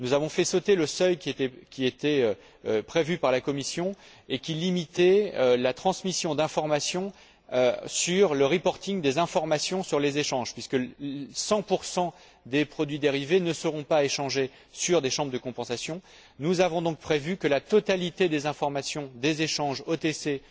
nous avons fait sauter le seuil qui était prévu par la Commission et qui limitait la transmission d'informations, le reporting des informations sur les échanges, puisque cent pour cent des produits dérivés ne seront pas échangés dans des chambres de compensation, nous avons donc prévu que la totalité des informations, qu'il s'agisse d'échanges OTC ou d'échanges